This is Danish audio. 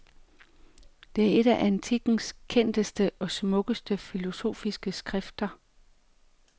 Det er et af antikkens kendteste og smukkeste filosofiske skrifter.